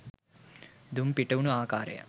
දුම් පිටවුණු ආකාරය